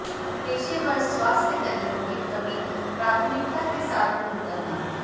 पेशेवर स्वास्थकर्मियों की कमी प्राथमिकता के साथ दूर करना